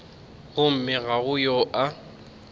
gomme ga go yo a